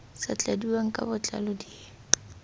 sa tladiwang ka botlalo di